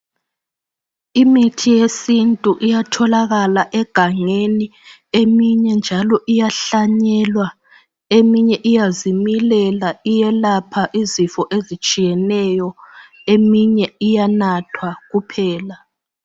Imithi yesintu iyatholakala egangeni eminye njalo iyahlanyelwa eminye iyazimilela iyelapha izifo ezitshiyeneyo eminye iyanathwa kuphela